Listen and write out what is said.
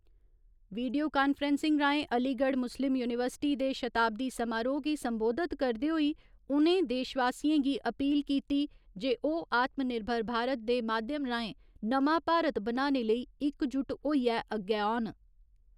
Video conferencing राएं Aligarh Muslim University दे शताब्दी समारोह गी संबोधित करदे होई उ'नें देशवासियें गी अपील कीती जे ओह् आत्मनिर्भर भारत दे माध्यम राएं नमां भारत बनाने लेई इकजुट होइयै अग्गै औन।